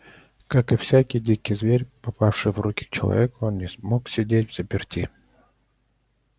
как и всякий дикий зверь попавший в руки к человеку он не мог сидеть взаперти